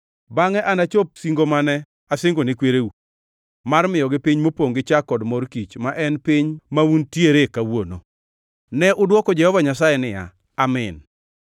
Bangʼe anachop singo mane asingone kwereu, mar miyogi piny mopongʼ gi chak kod mor kich’ ma en piny mauntiere kawuono.” Ne adwoko Jehova Nyasaye niya, “Amin.”